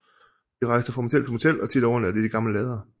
De rejste fra motel til motel og tit overnattede de i gamle lader